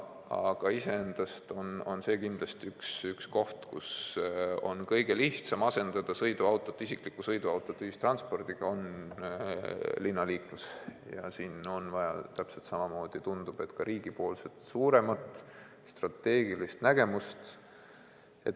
Aga kindlasti on linnaliiklus üks koht, kus on kõige lihtsam asendada isiklik sõiduauto ühistranspordiga ja siin on vaja riigipoolset suuremat strateegilist nägemust.